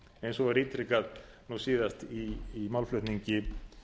eins og var ítrekað nú síðast í málflutningi